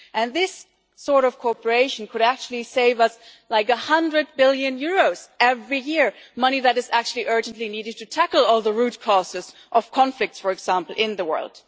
This sort of cooperation could actually save us something like EUR 100 billion every year money that is actually urgently needed to tackle all the root causes of conflicts, for example, in the world.